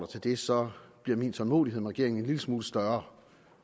til det så bliver min tålmodighed med regeringen en lille smule større